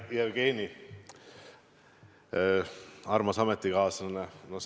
Hea Jevgeni, armas ametikaaslane!